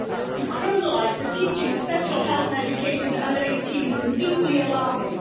To criminalise the teaching of sexual health and education to under 18s is deeply alarming.